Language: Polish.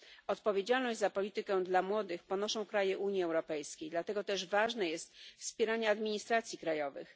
Odpowiedzialność za politykę dla młodych ponoszą kraje Unii Europejskiej, dlatego też ważne jest wspieranie administracji krajowych.